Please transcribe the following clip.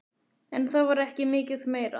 En það var ekki mikið meira.